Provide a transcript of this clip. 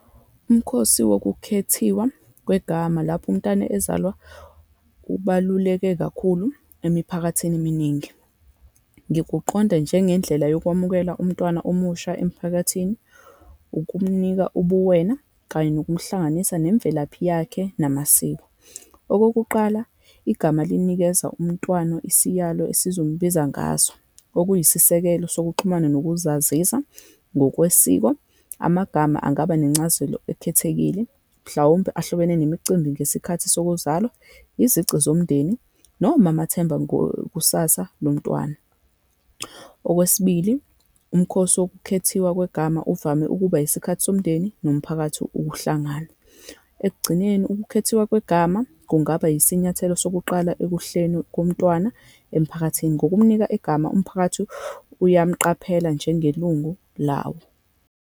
Umkhosi wokukhethiwa kwegama lapho umntwana ezalwa, ubaluleke kakhulu emiphakathini eminingi. Ngikuqonda njengendlela yokwamukela umntwana omusha emphakathini, ukumnika ubuwena, kanye nokumhlanganisa nemvelaphi yakhe namasiko. Okokuqala, igama linikeza umntwana isiyalo esizombiza ngaso, okuyisisekelo sokuxhumana nokuzazisa ngokwesiko. Amagama angaba nencazelo ekhethekile, mhlawumbe ahlobene nemicimbi ngesikhathi sokuzalwa, izici zomndeni, noma amathemba ngokusasa lomntwana. Okwesibili, umkhosi wokukhethiwa kwegama uvame ukuba isikhathi somndeni nomphakathi ukuhlangana. Ekugcineni, ukukhethiwa kwegama kungaba yisinyathelo sokuqala ekuhleni komntwana emphakathini. Ngokumnika igama, umphakathi uyamqaphela njengelungu lawo.